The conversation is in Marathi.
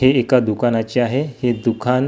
हे एका दुकानाचे आहे हे दुकान--